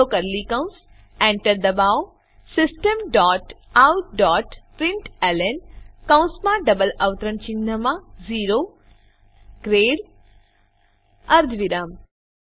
ખુલ્લો કર્લી કૌંસ એન્ટર દબાવો system dot out dot println કૌંસમાં ડબલ અવતરણ ચિહ્નમાં ઓ ગ્રેડ અર્ધવિરામ